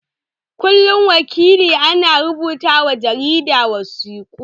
Kullum wakilia na rubuta wa jarida wasiƙu.